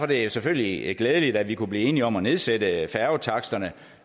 det selvfølgelig glædeligt at vi kunne blive enige om at nedsætte færgetaksterne